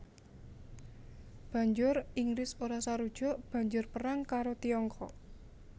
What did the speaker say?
Banjur Inggris ora sarujuk banjur perang karo Tiongkok